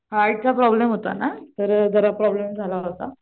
आईचा प्रॉब्लम होता ना शरीरावर वगैरे प्रॉब्लम झाला होता.